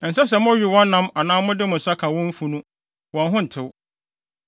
Ɛnsɛ sɛ mowe wɔn nam anaa mode mo nsa ka wɔn afunu; wɔn ho ntew.